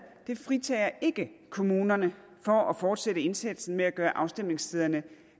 fritager ikke kommunerne for at fortsætte indsatsen med at gøre afstemningsstederne